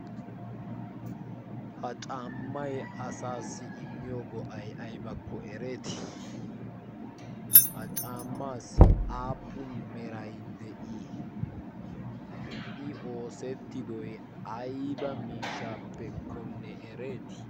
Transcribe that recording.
Ha caammayi asaassi immiyo go"ayi aybakko ereetii? Ha caammaassi aappun merayi de"ii? I oosettidoyi ayba miishshaappekkonne ereetii?